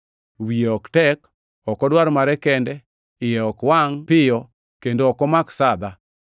Wiye ok tek, ok odwar mare kende, iye ok wangʼ piyo kendo ok omak sadha.